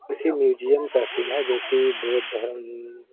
किसी मीयुजीउम का सीन है जो कि बोद्ध धर्म --